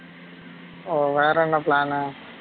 ஓ வேற என்ன plan உ